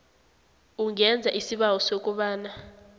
ungenza isibawo sokobana